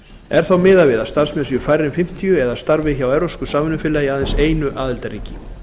er þá miðað við að starfsmenn séu færri en fimmtíu eða starfi hjá evrópsku samvinnufélagi í aðeins einu aðildarríki